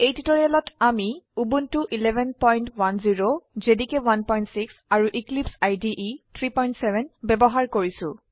এই টিউটোৰিয়েলত আমি উবুন্টু 1110 জেডিকে 16 আৰু এক্লিপছে 37 ব্যবহাৰ কৰিছো